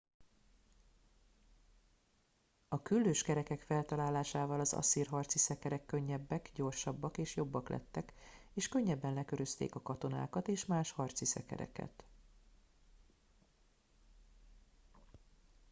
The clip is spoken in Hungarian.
a küllős kerekek feltalálásával az asszír harci szekerek könnyebbek gyorsabbak és jobbak lettek és könnyebben lekörözték a katonákat és más harci szekereket